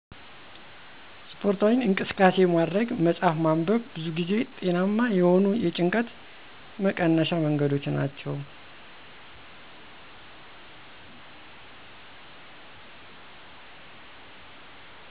ስፖርታዊ እንቅስቃሴ ማድረግ፣ መፅሐፍ ማንበብ ብዙ ጊዜ ጤናማ የሆኑ የጭንቀት መቀነሻ መንገዶች ናቸው።